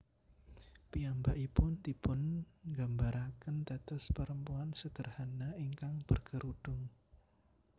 Piyambakipun dipungambarakén dados perempuan sederhana ingkang berkerudung